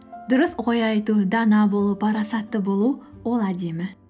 дұрыс ой айту дана болу парасатты болу ол әдемі